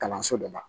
Kalanso dɔ la